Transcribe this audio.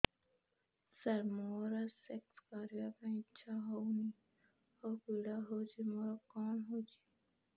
ସାର ମୋର ସେକ୍ସ କରିବା ପାଇଁ ଇଚ୍ଛା ହଉନି ଆଉ ପୀଡା ହଉଚି ମୋର କଣ ହେଇଛି